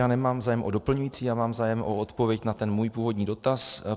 Já nemám zájem o doplňující, já mám zájem o odpověď na ten můj původní dotaz.